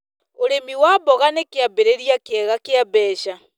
ũrĩmi wa mboga nĩ kĩambĩrĩria kĩega gĩa mbeca.